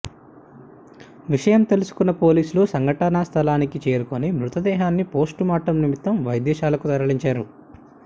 విషయం తెలుసుకున్న పోలీసులు సంఘటనా స్థలానికి చేరుకొని మృతదేహాన్ని పోస్టుమార్టం నిమిత్తం వైద్యశాలకు తరలించారు